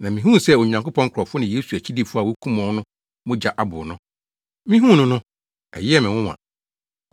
Na mihuu sɛ Onyankopɔn nkurɔfo ne Yesu akyidifo a wokum wɔn no mogya abow no. Mihuu no no, ɛyɛɛ me nwonwa.